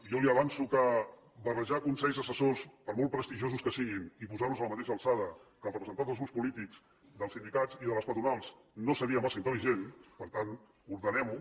jo li avanço que barrejar consells assessors per molt prestigiosos que siguin i posar los a la mateixa alçada que els representants dels grups polítics dels sindicats i de les patronals no seria massa intel·ligent per tant ordenem ho